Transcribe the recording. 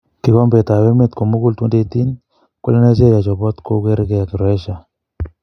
Kikombe ab emet komugul 2018: Kole Nigeria chobot kukerge ak Croatia.